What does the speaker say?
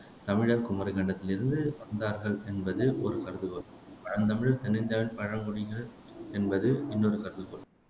தமிழர் குமரிக்கண்டத்தில் இருந்து வந்தார்கள் என்பது ஒரு கருதுகோள் பழந்தமிழர் தென் இந்தியாவின் பழங்குடிகள் என்பது இன்னொரு கருதுகோள்